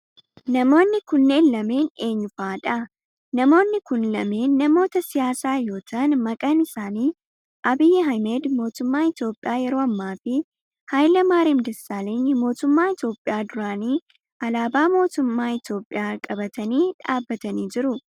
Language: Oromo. Namoonni kunneen lameen eenyu fa'aadha? Namoonni kun lameen namoota siyaasaa yoo ta'aan maqaan isaanii Abiyyi Ahimeed mootummaa Itiyoophiyaa yeroo ammaa fi Hayile Maariyam Dassaaleny mootummaa Itiyoophiyaa duraanii alaabaa mootummaa Itiyoophiyaa qabatani dhaabbatanii jiru.